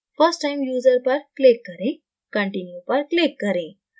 first time user पर click करें continue पर click करें